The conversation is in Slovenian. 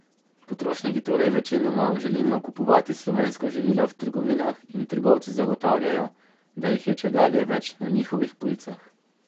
Potrošniki torej večinoma želimo kupovati slovenska živila v trgovinah in trgovci zagotavljajo, da jih je čedalje več na njihovih policah.